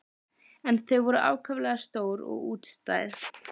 En þau voru ákaflega stór og útstæð.